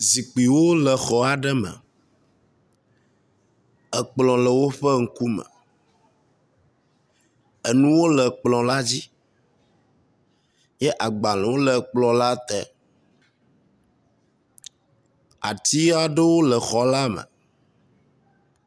Zikuiwo le xɔ aɖe me. Ekplɔ le woƒe ŋkume. Enuwo le kplɔ la dzi ye agbalewo le kplɔ la te. Ati aɖewo le xɔ la me.